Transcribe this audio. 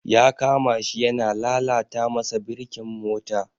Ya kama shi yana lalata masa birkin mota.